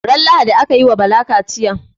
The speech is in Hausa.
Ran lahadi akayi wa Bala kachiya